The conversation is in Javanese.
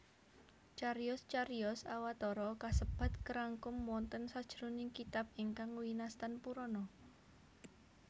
Cariyos cariyos Awatara kasebat karangkum wonten sajroning kitab ingkang winastan Purana